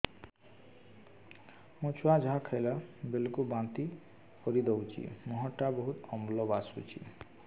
ମୋ ଛୁଆ ଯାହା ଖାଇଲା ବେଳକୁ ବାନ୍ତି କରିଦଉଛି ମୁହଁ ଟା ବହୁତ ଅମ୍ଳ ବାସୁଛି